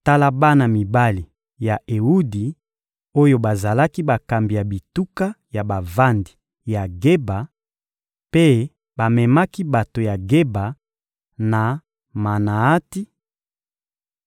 Tala bana mibali ya Ewudi oyo bazalaki bakambi ya bituka ya bavandi ya Geba, mpe bamemaki bato ya Geba na Manaati: